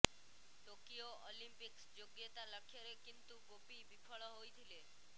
Tokyo Olympics ଯୋଗ୍ୟତା ଲକ୍ଷ୍ୟରେ କିନ୍ତୁ ଗୋପୀ ବିଫଳ ହୋଇଥିଲେ